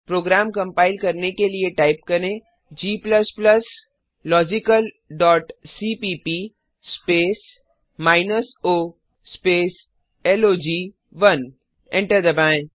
programme compile करने के लिए टाइप करें g logicalसीपीप स्पेस माइनस ओ स्पेस लॉग1 एंटर दबाएँ